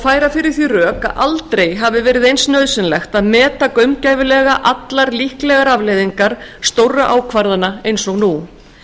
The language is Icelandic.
færa fyrir því rök að aldrei hafi verið eins nauðsynlegt að meta gaumgæfilega allar líklegar afleiðingar stórra ákvarðana eins og nú